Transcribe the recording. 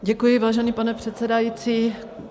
Děkuji, vážený pane předsedající.